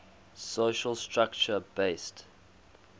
social structure based